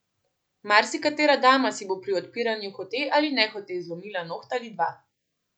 Marsikatera dama si bo pri odpiranju hote ali nehote zlomila noht ali dva.